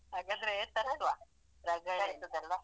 ಹಾಗಾದ್ರೆ ತರ್ಸುವಾ ರಗಳೆ ಇಲ್ಲ.